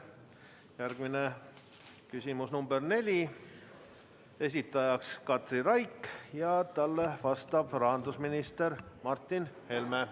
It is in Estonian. Järgmine küsimus, nr 4, esitaja Katri Raik ja talle vastab rahandusminister Martin Helme.